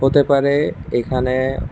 হতে পারে এখানে--